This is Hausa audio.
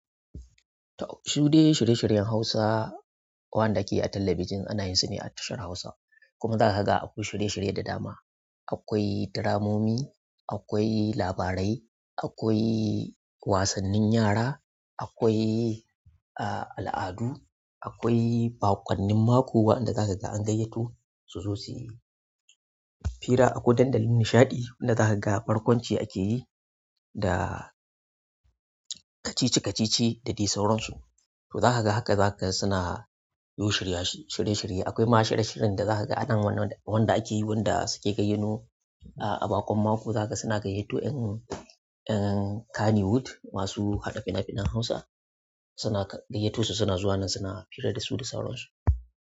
Shude shirye-shiryen Hausa wanda ke a talabijin ana yin su ne a tashar Hausa kuma za ka ga akwai shirye-shirye da dama. Akwai dramomi, akwai labarai, akwai wasannin yara, akwai, ah, al'adu, akwai baƙwannin mako waɗanda za ka ga an gayyato su zo suyi. Fira akwai dandali nishaɗi wanda za ka ga barkwanci ake yi da kacici-kacici da dai sauransu. To za ka ga haka za ka suna yin shirye-shirye. Akwai ma shiryen shiri da za ka ga anan wanda ake yi wanda suke gayyano ah a baƙon mako za ka suna gayyato ƴan Kannywood masu haɗa fina-finan Hausa suna gayyato su suna zuwa nan suna fira da su da sauransu.